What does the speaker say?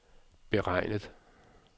beregnet